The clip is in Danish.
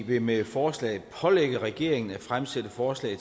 vil med forslaget pålægge regeringen at fremsætte forslag